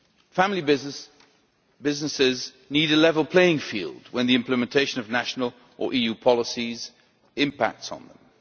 Family businesses need a level playing field when the implementation of national or EU policies has an impact on them.